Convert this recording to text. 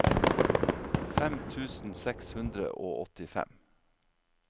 fem tusen seks hundre og åttifem